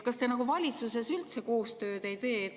Kas te valitsuses üldse koostööd ei tee?